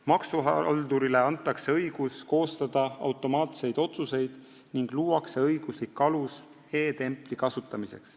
Maksuhaldurile antakse õigus koostada automaatseid otsuseid ning luuakse õiguslik alus e-templi kasutamiseks.